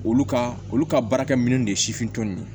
Olu ka olu ka baarakɛ minɛn de ye sifin ye